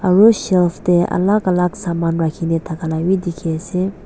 aro shelf te alak alak saman rakhikena dakhala bi dekhi ase.